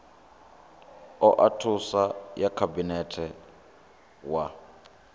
oa thuso ya khabinete wa